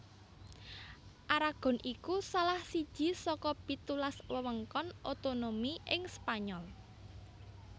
Aragon iku salah siji saka pitulas wewengkon otonomi ing Spanyol